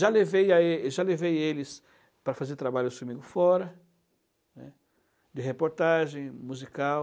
Já levei lá é já levei eles para fazer trabalho comigo fora, né, de reportagem, musical.